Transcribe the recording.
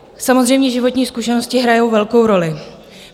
Samozřejmě, životní zkušenosti hrají velkou roli.